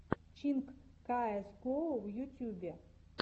чинк каэс гоу в ютьюбе